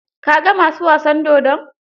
Ka ga ma su wasan dodon?